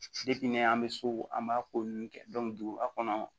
an bɛ so an b'a ko ninnu kɛ duguba kɔnɔ yan